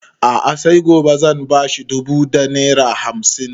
A'a sai gobe zan ba shi dubu da naira hamsin